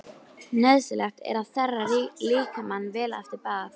Nauðsynlegt er að þerra líkamann vel eftir bað.